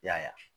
I y'a ye